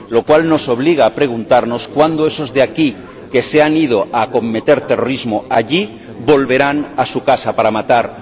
lo cual nos obliga a preguntarnos cuándo esos de aquí, que se han ido a cometer terrorismo allí, volverán a su casa para matar